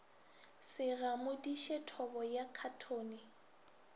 se gamodiše thobo ya khathone